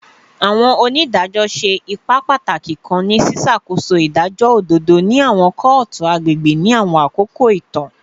Awọn onidajọ ṣe ipa pataki kan ni ṣiṣakoso idajọ ododo ni awọn kootu agbegbe ni awọn akoko itan